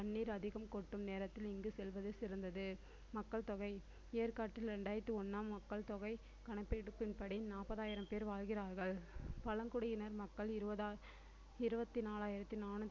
தண்ணீர் அதிகம் கொட்டும் நேரத்தில் இங்கு செல்வது சிறந்தது மக்கள்தொகை ஏற்காட்டில் இரண்டாயிரத்து மக்கள் தொகை கணக்கெடுப்பின்படி நாற்பதாயிரம் பேர் வாழ்கிறார்கள் பழங்குடியினர் மக்கள் இருபதா~ இருபத்தி நாலாயிரத்தி